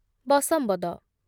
ବଶମ୍ବଦ